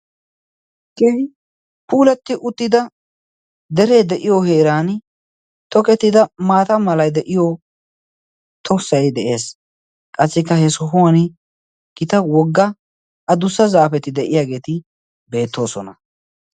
keehi puulatti uttida deree de'iyo heeran tokettida maata malay de'iyo tossay de'ees. Qassikka he sohuwan gita wogga a dussa zaafeti de'iyaageeti beettoosona.